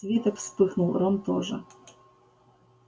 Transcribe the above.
свиток вспыхнул рон тоже